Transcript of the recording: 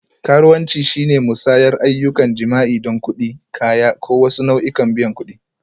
Karuwanci shine musayar ayyukan jima'i don kuɗi, kaya, ko wasu nau'ikan biyan kuɗi.